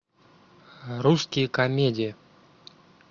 русские комедии